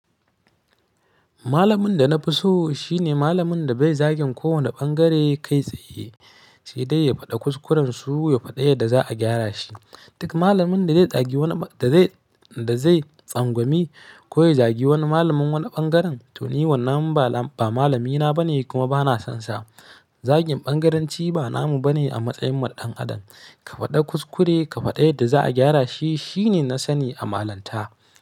Malamin da na fi so shi ne malamin da bai zagin kowane ɓangare kai tsaye, sai dai ya faɗa kuskurensu, ya faɗi yadda za a gyara shi. Duk malamin da zai zagi wani, da zai, da zai tsangwami ko ya zagi wani malamin wani ɓangaren, toh ni wannan ba malami na bane kuma bana son sa. Zagin ɓangaranci ba namu bane a matsayin mu na dan Adam. Ka fada kuskure ka fada yarda za'a gyara shi, shine na sani a malanta.